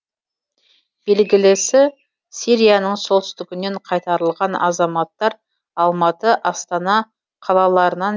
белгілісі сирияның солтүстігінен қайтарылған азаматтар алматы астана қалаларынан